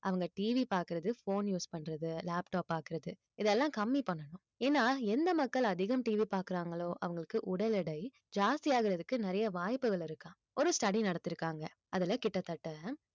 அவங்க TV பாக்குறது phone use பண்றது laptop பாக்குறது இதெல்லாம் கம்மி பண்ணணும் ஏன்னா எந்த மக்கள் அதிகம் TV பாக்குறாங்களோ அவங்களுக்கு உடல் எடை ஜாஸ்தி ஆகுறதுக்கு நிறைய வாய்ப்புகள் இருக்காம் ஒரு study நடத்தியிருக்காங்க அதுல கிட்டத்தட்ட